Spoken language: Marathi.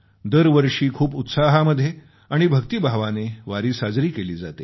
दरवर्षी खूप उत्साहामध्ये आणि भक्तीभावाने वारी साजरी केली जाते